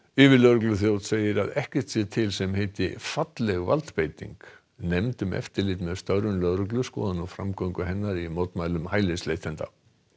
yfirlögregluþjónn segir að ekkert sé til sem heiti falleg valdbeiting nefnd um eftirlit með störfum lögreglu skoðar nú framgöngu hennar í mótmælum hælisleitenda